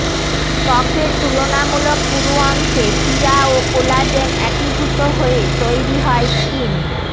ত্বকের তুলনামূলক পুরু অংশে শিরা ও কোলাজেন একীভূত হয়ে তৈরি হয় স্কিন